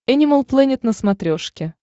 энимал плэнет на смотрешке